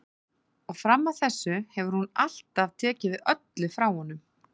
Og fram að þessu hefur hún alltaf tekið við öllu frá honum.